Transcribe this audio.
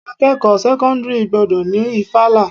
Akẹ́kọ̀ọ́ sẹ́kọ́ńdírì gbọ́dọ̀ ni ìfala.